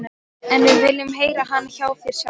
En við viljum heyra hana hjá þér sjálfum.